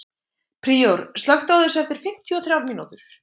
Príor, slökktu á þessu eftir fimmtíu og þrjár mínútur.